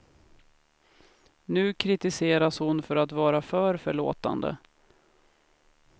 Nu kritiseras hon för att vara för förlåtande.